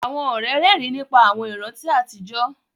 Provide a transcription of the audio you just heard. Àwọn ọ̀rẹ́ rẹ́rìn nípa àwọn ìrántí àtijọ́